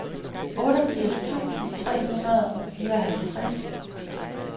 otteogfirs tusind tre hundrede og fireoghalvtreds